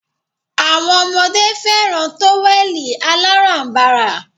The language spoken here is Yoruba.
Awọn ọmọdé fẹràn tówẹ̀lì aláránbara.